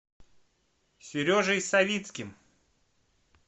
сережей савицким